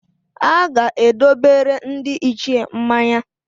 A ga-edobere ndị Ichie mmanya.